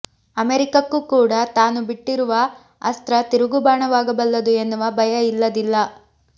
ಅಮೆರಿಕಕ್ಕೂ ಕೂಡ ತಾನು ಬಿಟ್ಟಿರುವ ಅಸ್ತ್ರ ತಿರುಗುಬಾಣವಾಗಬಲ್ಲದು ಎನ್ನುವ ಭಯ ಇಲ್ಲದಿಲ್ಲ